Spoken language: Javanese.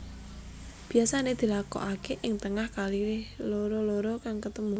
Biasané dilakokaké ing tengah kali loro loro kang ketemu